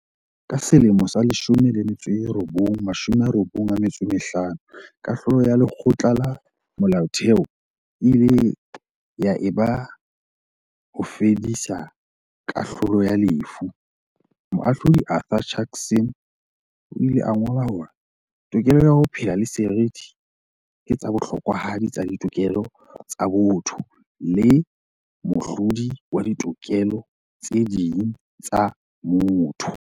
Ka selemo sa 1995 kahlolo ya Lekgotla la Molaotheo e ile ya e ba ho fedisa kahlolo ya lefu, Moahlodi Arthur Chaskalson o ile a ngola hore, "Tokelo ya ho phela le seriti ke tsa bohlokwahadi tsa ditokelo tsa botho le mohlodi wa ditokelo tse ding tsa motho."